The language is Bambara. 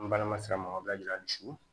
N balima sira ma o bɛ yira hali su